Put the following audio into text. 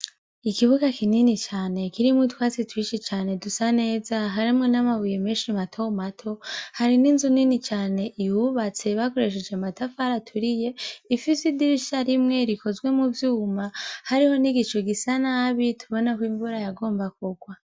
Ikibuga kinini cane kirimwo itwatsi twishi cane dusa neza harimwo n'amabuye menshi matomato hari n'inzu nini cane iyubatse bakoresheje matafara turiye ifise idirisha rimwe rikozwe mu vyuma hariho n'igico gisa nabi tubonako imvura yagomba kugwa.